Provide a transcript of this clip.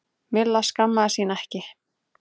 Milla skammaðist sín ekki.